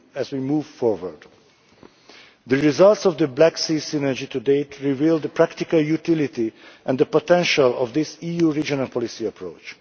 as we move forward. The results of the Black Sea Synergy to date reveal the practical utility and the potential of this EU regional policy approach.